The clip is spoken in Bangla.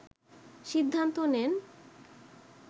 সিদ্ধান্ত নেন